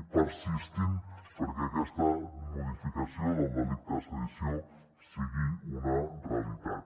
i persistint perquè aquesta modificació del delicte de sedició sigui una realitat